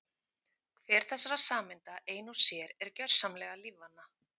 Hver þessara sameinda ein og sér er gjörsamlega lífvana.